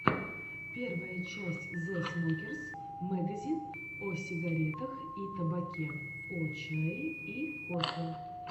первая часть зэ смокерс мэгазин о сигарах и табаке о чае и кофе